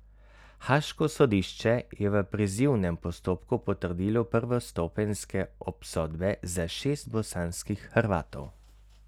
Haaško sodišče je v prizivnem postopku potrdilo prvostopenjske obsodbe za šest bosanskih Hrvatov.